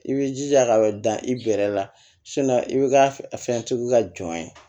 I b'i jija ka dan i bɛrɛ la i bɛ ka fɛn sugu ka jɔn ye